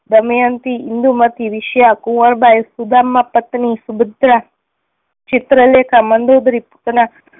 દમયંતિ, ઇન્દુમતિ, વિષ્યા, કુંવરબાઈ, સુદામા પત્ની, સુભદ્રા, ચિત્રલેખા, મંદોદરી, પૂતના